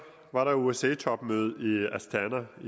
var der osce topmøde i astana i